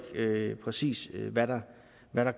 præcis hvad der